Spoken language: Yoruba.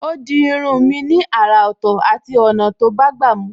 Ó di irun mi ni àrà Ọ̀tọ̀ àti ọ̀nà tó bágbà mu